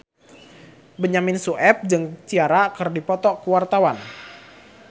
Benyamin Sueb jeung Ciara keur dipoto ku wartawan